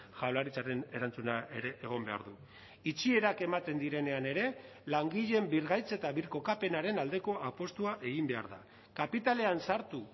jaurlaritzaren erantzuna ere egon behar du itxierak ematen direnean ere langileen birgaitz eta birkokapenaren aldeko apustua egin behar da kapitalean sartu